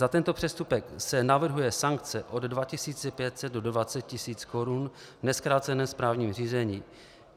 Za tento přestupek se navrhuje sankce od 2 500 do 20 000 Kč v nezkráceném správním řízení.